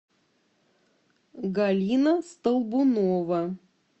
галина столбунова